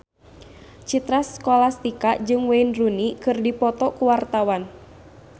Citra Scholastika jeung Wayne Rooney keur dipoto ku wartawan